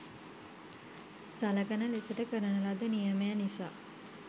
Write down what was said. සලකන ලෙසට කරන ලද නියමය නිසා